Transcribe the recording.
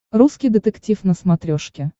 русский детектив на смотрешке